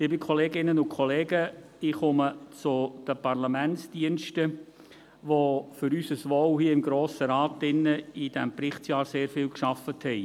Liebe Kolleginnen und Kollegen, ich komme zu den Parlamentsdiensten, die für unser Wohl hier im Grossen Rat während dieses Berichtsjahrs sehr viel gearbeitet haben.